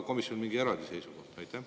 Kas komisjonil oli ka mingi seisukoht?